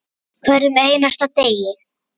Hverjum einasta degi.